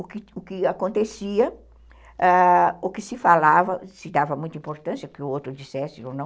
O que o que acontecia, o que se falava, se dava muita importância, o que o outro dissesse ou não,